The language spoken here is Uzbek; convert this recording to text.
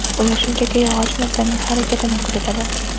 Ular shunchaki yog‘och narsaning harakatini kuzatadi.